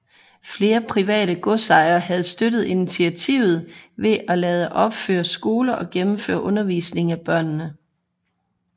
Flere private godsejere havde støttet initiativet ved at lade opføre skoler og gennemføre undervisning af børnene